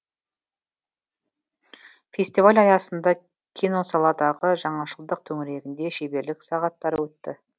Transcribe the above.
фестиваль аясында киносаладағы жаңашылдық төңірегінде шеберлік сағаттары өтті